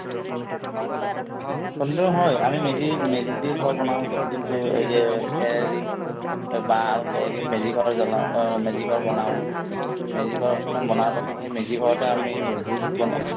সন্ধিয়া সময় আমি মেজি মেজি ঘৰ বনাওঁ যোনটো এই যে খেৰে দি এই বাহ আৰু খেৰ দি মেজি ঘৰ জ্বলাওঁ অ মেজি ঘৰ বনাওঁ মেজি ঘৰ বনাৱাৰ পাছত সেই মেজি ঘৰতে আমি উব ভোজ বনাওঁ